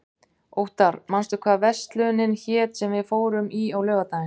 Óttar, manstu hvað verslunin hét sem við fórum í á laugardaginn?